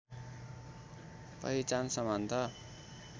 पहिचान समानता